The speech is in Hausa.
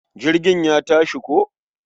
Jirgin ya tashi ko.